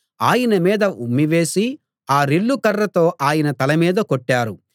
ఆయన మీద ఉమ్మి వేసి ఆ రెల్లు కర్రతో ఆయన తలమీద కొట్టారు